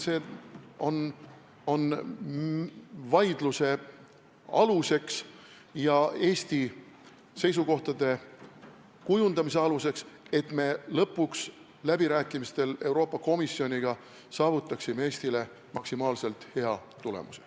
See on vaidluse aluseks ja Eesti seisukohtade kujundamise aluseks, et me lõpuks läbirääkimistel Euroopa Komisjoniga saavutaksime Eestile maksimaalselt hea tulemuse.